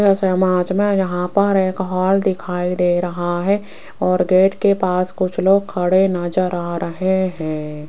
इस इमेज में यहां पर एक हॉल दिखाई दे रहा है और गेट के पास कुछ लोग खड़े नजर रहे हैं।